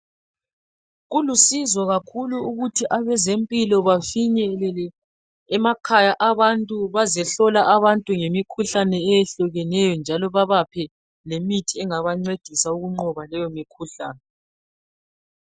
Kulusizo kakhulu ukuthi abezempilo bafinyelele emakhaya abantu bazihlola abantu ngemikhuhlane eyehlukeneyo njalo babaphe lemithi engabancedisa ukunqoba leyo mikhuhlane